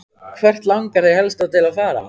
Hvert langar þig helst til að fara?